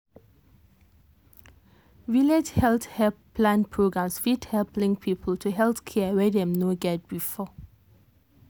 village health help plan programs fit help link people to health care wey dem no get before.